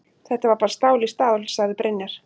Þetta var bara stál í stál, sagði Brynjar.